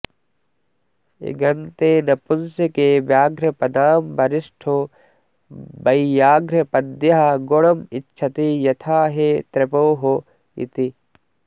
इगन्ते नपुंसके व्याघ्रपदां वरिष्ठो वैयाघ्रपद्यः गुणमिच्छति यथा हे त्रपोः इति